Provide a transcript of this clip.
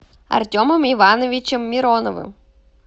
артемом ивановичем мироновым